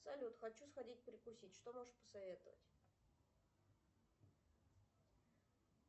салют хочу сходить перекусить что можешь посоветовать